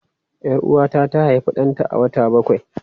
Yar Uwata ta haifi danta a wata bakwai.